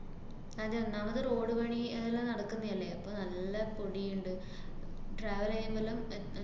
അതെ. ഒന്നാമത് road പണി ഏർ എല്ലാം നടക്കുന്നയല്ലേ, അപ്പ നല്ല പൊടീയ്ണ്ട്. travel ചെയ്യുമ്പലും അഹ്